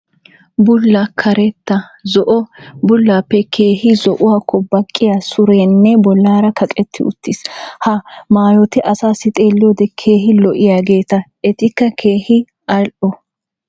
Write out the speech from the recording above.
bulla, karetta, zo'o, bullaappe keehi zo'uwakko baqqiya sureenne bolaalee kaqetti utiis. ha maayoti asaassi xeeliyode keehi lo'iyageeta. etikka keehi al'o.